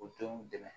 U denw dɛmɛ